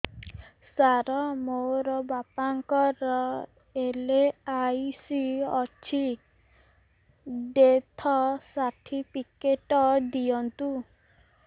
ସାର ମୋର ବାପା ଙ୍କର ଏଲ.ଆଇ.ସି ଅଛି ଡେଥ ସର୍ଟିଫିକେଟ ଦିଅନ୍ତୁ